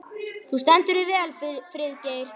Þú stendur þig vel, Friðgeir!